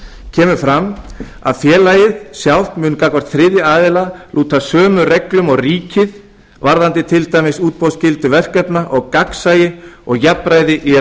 kemur fram að félagið sjálft mun gagnvart þriðja aðila lúta sömu reglum og ríkið varðandi til dæmis útboðsskyldu verkefna og gagnsæi og jafnræði í